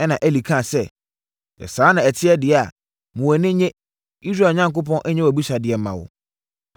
Ɛnna Eli kaa sɛ, “Sɛ saa na ɛte deɛ a, ma wʼani nnye! Israel Onyankopɔn nyɛ wʼabisadeɛ mma wo.”